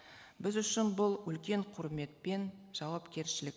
біз үшін бұл үлкен құрмет пен жауапкершілік